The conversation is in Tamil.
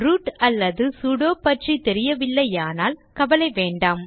ரூட் அல்லது சுடோ பற்றி தெரியவில்லையானால் கவலை வேண்டாம்